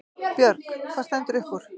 Björg: Hvað stendur upp úr?